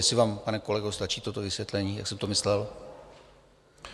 Jestli vám, pane kolego, stačí toto vysvětlení, jak jsem to myslel?